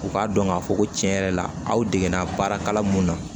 U k'a dɔn k'a fɔ ko tiɲɛ yɛrɛ la aw dege la baara mun na